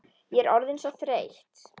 Ég er orðin svo þreytt.